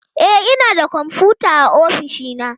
E, ina da kwamfuta a ofishi na